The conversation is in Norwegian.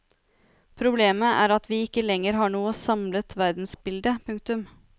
Problemet er at vi ikke lenger har noe samlet verdensbilde. punktum